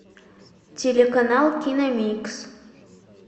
телеканал киномикс